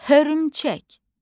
Hörümçək.